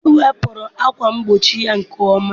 Ben wepụrụ ákwà mgbochi ya nke ọma.